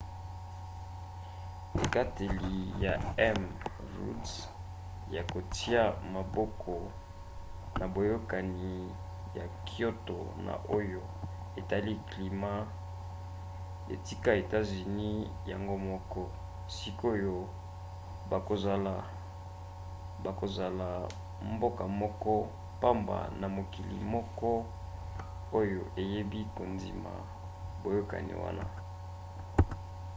ekateli ya m. rudd ya kotia maboko na boyokani ya kyoto na oyo etali climat etika etats-unis yango moko; sikoyo bakozala mboka moko pamba na mokili moko oyo eboyi kondima boyokani wana